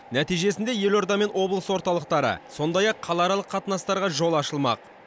нәтижесінде елордамен облыс орталықтары сондай ақ қалааралық қатынастарға жол ашылмақ